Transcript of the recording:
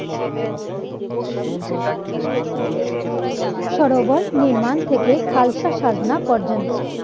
সরোবর নির্মাণ থেকে খালসা সাজনা পর্যন্ত,